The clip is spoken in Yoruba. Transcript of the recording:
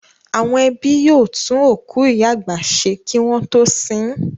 Àwọn ẹbí yóò tún òkú ìyá àgbà ṣe wọn kí wọ́n tó sin ín.